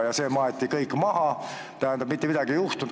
Ja see maeti kõik maha, mitte midagi ei juhtunud.